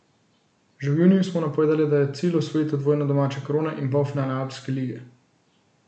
Že v juniju smo napovedali, da je cilj osvojitev dvojne domače krone in polfinale Alpske lige.